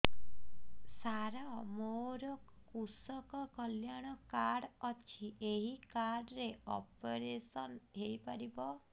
ସାର ମୋର କୃଷକ କଲ୍ୟାଣ କାର୍ଡ ଅଛି ଏହି କାର୍ଡ ରେ ଅପେରସନ ହେଇପାରିବ